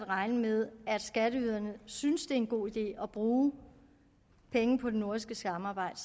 regne med at skatteyderne synes det er en god idé at bruge penge på det nordiske samarbejde